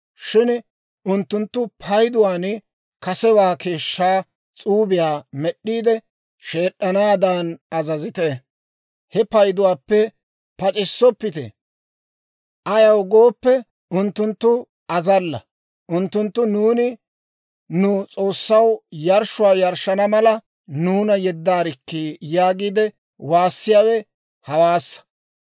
shin unttunttu payduwaan kasewaa keeshshaa s'uubiyaa med'd'iide, sheed'd'anaadan azazite; he payduwaappe pac'issoppite; ayaw gooppe, unttunttu azalla; unttunttu, ‹Nuuni nu S'oossaw yarshshuwaa yarshshana mala, nuuna yeddaarikkii› yaagiide waassiyaawe hawaassa.